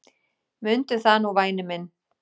Mundu það nú væni minn.